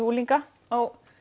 unglinga á